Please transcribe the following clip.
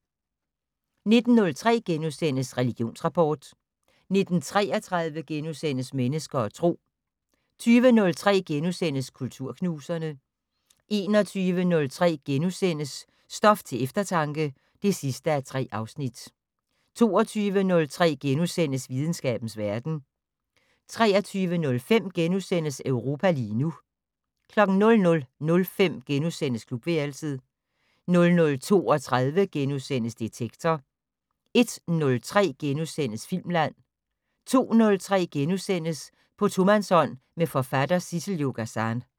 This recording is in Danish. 19:03: Religionsrapport * 19:33: Mennesker og Tro * 20:03: Kulturknuserne * 21:03: Stof til eftertanke (3:3)* 22:03: Videnskabens verden * 23:05: Europa lige nu * 00:05: Klubværelset * 00:32: Detektor * 01:03: Filmland * 02:03: På tomandshånd med forfatter Sissel-Jo Gazan *